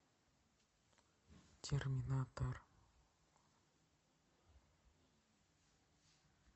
терминатор